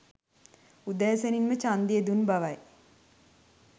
උදෑසනින්ම ඡන්දය දුන් බවයි